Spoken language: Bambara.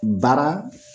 Baara